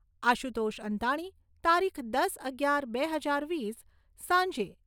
આશુતોષ અંતાણી. તારીખ દસ અગિયાર બે હજાર વીસ સાંજે